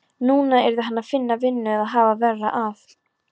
Núna yrði hann að finna vinnu eða hafa verra af.